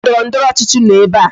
Ndị ndọrọndọrọ ọchịchị nọ ebe a